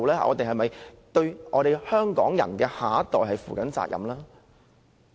我們有否對香港下一代人負責任？